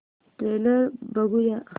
trailer बघूया